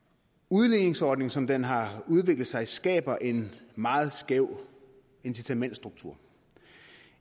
udligningsordningen som den har udviklet sig skaber en meget skæv incitamentsstruktur